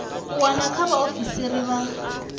u wana kha vhaoisisi vha